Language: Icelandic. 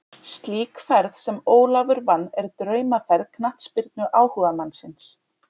Slík ferð sem Ólafur vann er draumaferð knattspyrnuáhugamannsins.